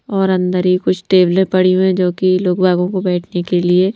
और अंदर ही कुछ टेबल ए पड़ी हुई हैंजो कि लोकभागों को बैठने के लिए--